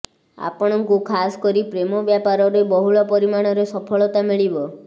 ଆପଣଙ୍କୁ ଖାସ କରି ପ୍ରେମ ବ୍ଯପାରରେ ବହୁଳ ପରିମାଣରେ ସଫଳତା ମିଳିବ